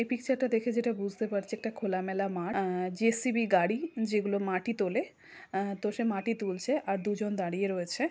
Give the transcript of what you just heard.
এই পিকচার -টা দেখে যেটা বুঝতে পারছি একটা খোলামেলা মাঠ আ-আ জে.সি.বি গাড়ি যে গুলো মাটি তোলে তো সে মাটি তুলছে আর দুজন দাঁড়িয়ে রয়েছে।